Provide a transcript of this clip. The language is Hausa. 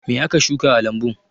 Me aka shuka a lambun?